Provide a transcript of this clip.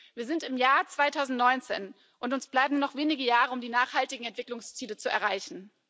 Wir sind im Jahr 2019, und uns bleiben noch wenige Jahre, um die Ziele für nachhaltige Entwicklung zu erreichen.